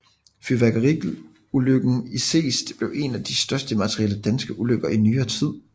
Fyrværkeriulykken i Seest blev en af de største materielle danske ulykker i nyere tid